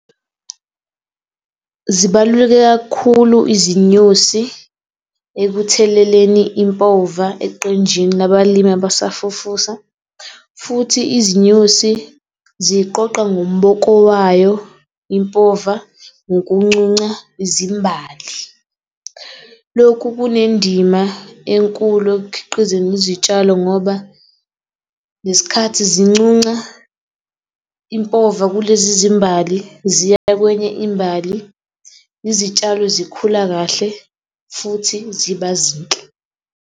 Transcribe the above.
Zibaluleke kakhulu izinyosi ekutheleleni impova eqenjini labalimi abasafufusa, futhi izinyosi ziqoqa ngomboko wayo impova ngokuncunca izimbali. Lokhu kunendima enkulu ekukhiqizeni izitshalo ngoba ngesikhathi zincunca impova kulezi zimbali ziya kwenye imbali, izitshalo zikhula kahle futhi ziba zinhle.